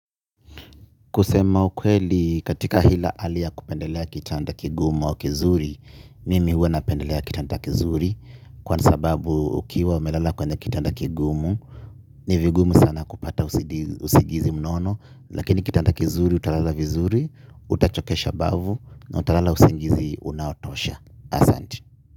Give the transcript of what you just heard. Kusema ukweli katika ile haliya kupendelea kitanda kigumu au kizuri, mimi huwa napendelea kitanda kizuri kwa sababu ukiwa umelala kwenye kitanda kigumu, nivigumu sana kupata usingizi mnono, lakini kitanda kizuri utalala vizuri, hutachokesha mbavu na utalala usingizi unaotosha.